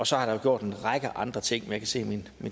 så er der gjort en række andre ting men jeg kan se at min